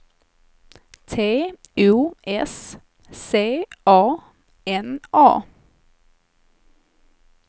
T O S C A N A